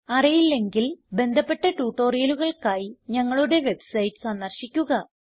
അറിയില്ലെങ്കിൽ ബന്ധപ്പെട്ട ട്യൂട്ടോറിയലുകൾക്കായി ഞങ്ങളുടെ വെബ്സൈറ്റ് സന്ദർശിക്കുക